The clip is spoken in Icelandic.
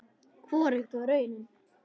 Hvorugt var raunin.